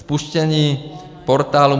Spuštění portálu